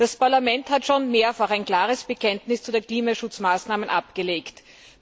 Das Parlament hat schon mehrfach ein klares Bekenntnis zu den Klimaschutzmaßnahmen abgegeben.